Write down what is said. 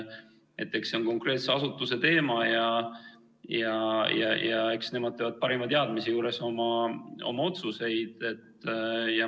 See on konkreetse asutuse teema ja eks nemad peavad tegema parima teadmise juures oma otsuseid.